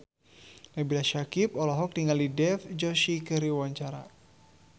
Nabila Syakieb olohok ningali Dev Joshi keur diwawancara